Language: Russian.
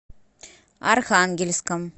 архангельском